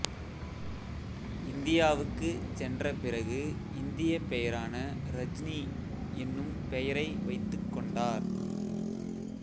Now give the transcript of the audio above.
இந்தியாவுக்குச் சென்ற பிறகு இந்தியப் பெயரான ரஜ்னி என்னும் பெயரை வைத்துக் கொண்டார்